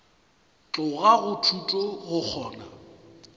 tloga go thuto go kgona